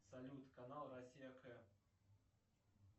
салют канал россия к